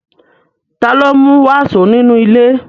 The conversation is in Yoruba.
Ta ló mú wàsó nínú ilé?